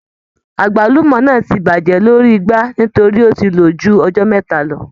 Àgbálùmọ́ náà ti bàjẹ́ lórí igbá nítorí ó ti lò ju ọjọ́ mẹ́ta lọ.